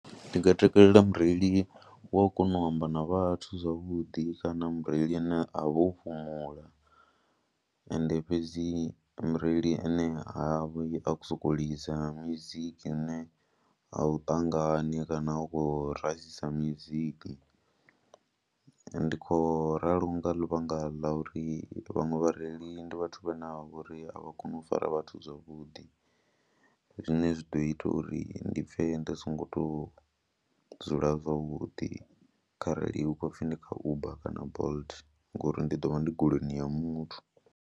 Ndi nga takalela mureili wa u kona u amba na vhathu zwavhuḓi kana mureili ane a vho fhumula, ende fhedzi mureili ane ha vhi a khou sokou lidza mizika ine a u ṱangane kana u khou rasisa music. Ndi khou ralo nga ḽivhanga ḽa uri vhaṅwe vhareili ndi vhathu vhane vha vho ri a vha koni u fara vhathu zwavhuḓi zwine zwi ḓo ita uri ndi pfhe ndo songo tou dzula zwavhuḓi kharali hu khou pfhi ndi kha Uber kana Bolt ngori ndi ḓo vha ndi goloini ya muthu.